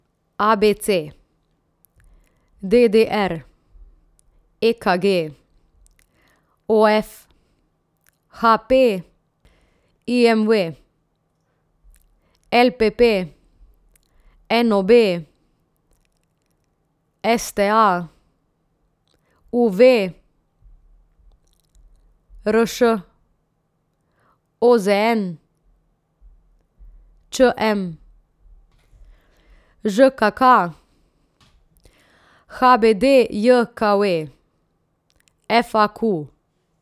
A B C; D D R; E K G; O F; H P; I M V; L P P; N O B; S T A; U V; R Š; O Z N; Č M; Ž K K; H B D J K V; F A Q.